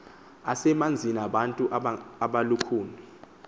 asemanzini ngabantu abalukhuni